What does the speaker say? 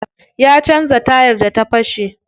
Ya canza tayar da ta fashe.